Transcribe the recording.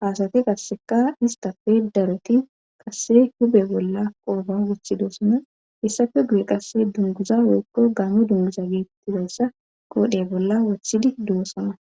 haasati qasseka istafe daroti qasse hube bolla qooba wuthidoosana hissafe guye qasse dunguza weekko gaame dunguza geetttidossa qoodhe bolla wothidi duwosana.